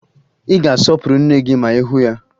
Ị ga-asọpụrụ nne gị ma ị hụ ya